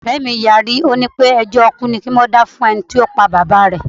Ọ̀rẹ́ mí yarí, ó ní wípé ẹjọ́ ikú ni kí wón dá fún ẹnití ó pa Bàbá rẹ̀.